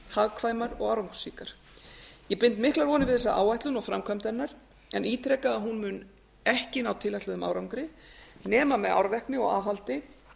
hagkvæmar og árangursríkar ég bind miklar vonir við þessa áætlun og framkvæmd hennar en ítreka að hún mun ekki ná tilætluðum árangri nema með árvekni og aðhaldi